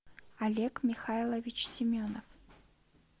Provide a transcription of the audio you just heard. олег михайлович семенов